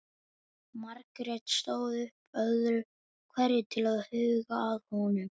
Margrét stóð upp öðru hverju til að huga að honum.